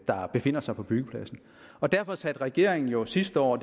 der befinder sig på byggepladsen derfor satte regeringen jo sidste år